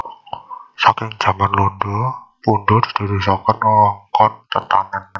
Saking jaman londo Pundong didadosaken wewengkon tetanen